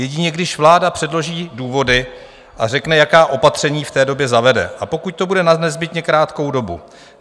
Jedině když vláda předloží důvody a řekne, jaká opatření v té době zavede, a pokud to bude na nezbytně krátkou dobu.